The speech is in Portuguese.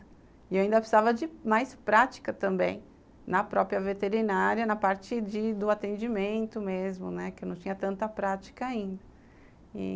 E eu ainda precisava de mais prática também, na própria veterinária, na parte de do atendimento mesmo, que eu não tinha tanta prática ainda.